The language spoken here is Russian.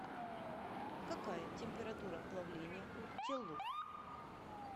какая температура плавления у теллур